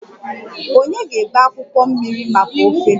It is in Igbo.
Ònye ga-ebe akwụkwọ mmiri maka ofe?